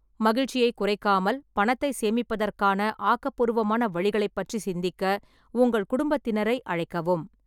மகிழ்ச்சியைக் குறைக்காமல் பணத்தை சேமிப்பதற்கான ஆக்கப்பூர்வமான வழிகளைப் பற்றி சிந்திக்க உங்கள் குடும்பத்தினரை அழைக்கவும்.